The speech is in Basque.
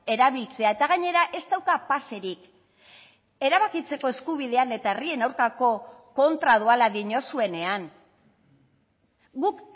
erabiltzea eta gainera ez dauka paserik erabakitzeko eskubidean eta herrien aurkako kontra doala diozuenean guk